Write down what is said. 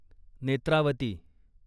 Netravati